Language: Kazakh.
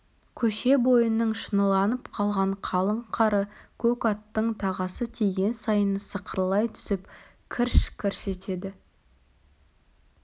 көше бойының шыныланып қалған қалың қары көк аттың тағасы тиген сайын сықырлай түсіп кірш-кірш етеді